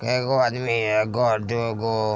केएगो आदमी हेय एगो दू गो।